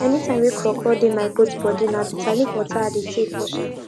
dey use back of tree to help cool down soil cool down soil and e go stop water make e no comot quick.